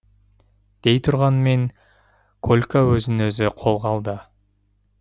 дейтұрғанмен колька өзін өзі қолға алды